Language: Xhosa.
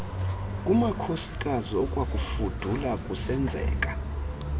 kumakhosikazi okwakufudula kusenzeka